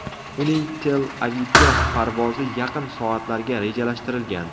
Uning Tel-Avivga parvozi yaqin soatlarga rejalashtirilgan.